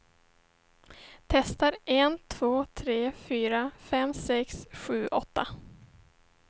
Testar en två tre fyra fem sex sju åtta.